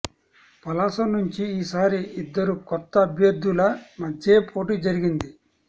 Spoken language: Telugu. పలాస నుంచి ఈసారి ఇద్దరు కొత్త అభ్యర్థుల మధ్యే పోటీ జరిగింది